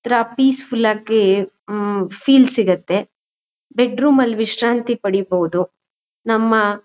ಒಂದ್ ತರ peaceful ಆಗಿ ಹ್ಮ್ಮ್ ಫೀಲ್ ಸಿಗುತ್ತೆ. ಬೆಡ್ರೂಮ್ ಅಲ್ಲಿ ವಿಶ್ರಾಂತಿ ಪಡಿಬೋಹುದು ನಮ್ಮ--